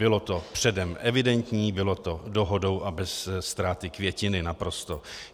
Bylo to předem evidentní, bylo to dohodou a bez ztráty květiny, naprosto.